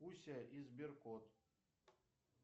пуся и сберкот